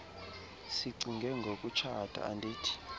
sicinge ngokutshata andithi